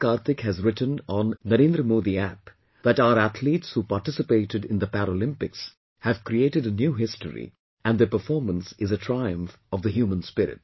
Kartik has written on NarendraModiApp that our athletes who participated in the Paralympics have created a new history and their performance is a triumph of the human spirit